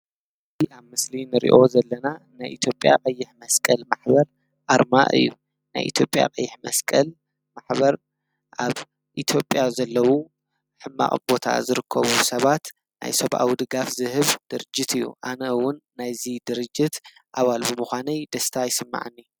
እዚ ኣብ ምስሊ ክንሪኦ ዘለና ናይ ኢትዮጲያ ቀይሕ መስቀል ማሕበር ኣርማ እዩ ። ናይ ኢትዮጲያ ቀይሕ መስቀል ማሕበር ኣብ ኢትዮጲያ ዘለዉ ሓማቕ ቦታ ዝርከቡ ሰባት ናይ ሰብኣዊ ድጋፍ ዝህብ ድርጅት እዩ። ኣነ እዉን ናይዚ ድርጅት ኣባል ብሙኳነይ ደስታ ይስመዓኒ።